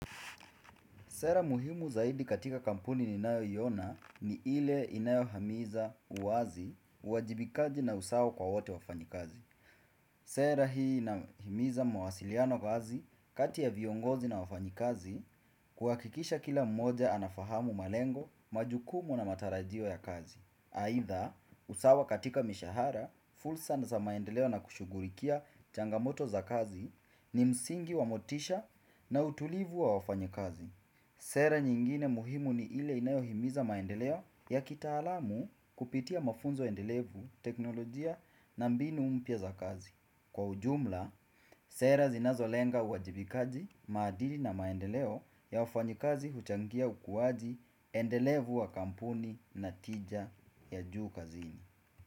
Sera muhimu zaidi katika kampuni ninayoiona ni ile inayo hamiza uazi, uajibikaji na usawa kwa wote wafanyikazi. Sera hii inahimiza mawasiliano wazi kati ya viongozi na wafanyikazi kuhakikisha kila mmoja anafahamu malengo, majukumu na matarajio ya kazi. Aidha, usawa katika mishahara, fursa za maendeleo na kushughulikia changamoto za kazi ni msingi wa motisha na utulivu wa wafanyikazi. Sera nyingine muhimu ni ile inayohimiza maendeleo ya kitaalamu kupitia mafunzo endelevu teknolojia na mbinu mpya za kazi. Kwa ujumla, sera zinazolenga uwajibikaji maadili na maendeleo ya wafanyikazi huchangia ukuaji endelevu wa kampuni na tija ya juu kazini.